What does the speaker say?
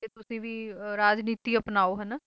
ਤੁਸੀਂ ਵੀ ਰਾਜਨੀਤੀ ਅਪਣਾਓ ਹੈ ਨਾ